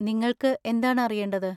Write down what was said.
നിങ്ങൾക്ക് എന്താണ് അറിയേണ്ടത്?